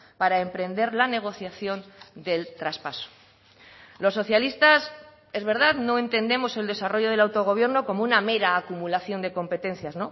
para emprender la negociación del traspaso los socialistas es verdad no entendemos el desarrollo del autogobierno como una mera acumulación de competencias